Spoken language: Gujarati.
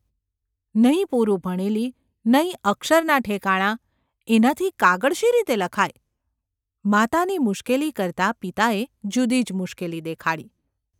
નહિ પૂરું ભણેલી ! નહિ અક્ષરનાં ઠેકણાં ! એનાથી કાગળ શી રીતે લખાય ?’ માતાની મુશ્કેલી કરતાં પિતાએ જુદી જ મુશ્કેલી દેખાડી.